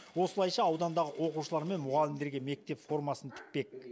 осылайша аудандағы оқушылар мен мұғалімдерге мектеп формасын тікпек